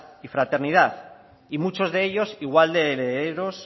y fraternidad y muchos de ellos igual de herederos